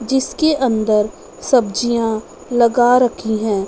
जिसके अंदर सब्जियां लगा रखी है।